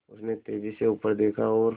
उसने तेज़ी से ऊपर देखा और